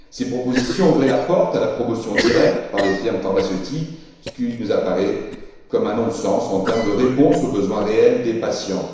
Ces propositions ouvraient la porte à la promotion directe par les firmes pharmaceutiques, ce qui nous apparaît comme un non sens en termes de réponse aux besoins réels des patients.